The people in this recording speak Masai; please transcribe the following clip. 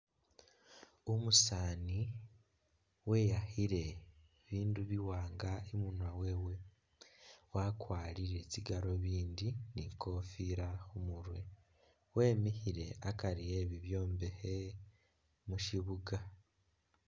Umusaani weyakhile bibindu biwaanga imunwa wewe wakwalire tsi galuvindi ni kofila khumurwe wemikhile akari e'bibyombekhe mushibuga